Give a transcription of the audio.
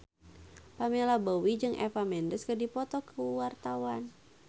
Pamela Bowie jeung Eva Mendes keur dipoto ku wartawan